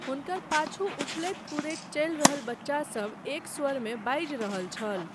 हुनकर पाछू उछलैत कूदैत चलि रहल बच्चासभ एक स्वरमे बाजि रहल छल।